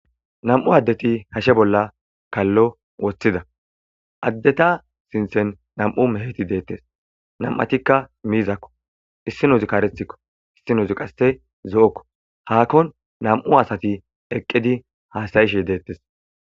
Nam'u adeti hashe bolla kallo wottida adeta sinttan nam'u meheti detes nam'atika miizako issinozika karetiko issinozi qasse zo'oko hakon nam'u asati eqqidi hassayashe detes.